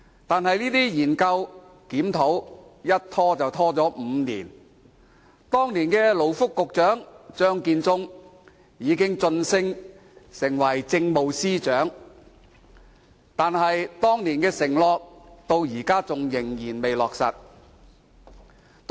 可是，這些研究及檢討卻拖延了5年，時任勞工及福利局局長張建宗也已晉升為政務司司長，但當年的承諾至今仍未兌現。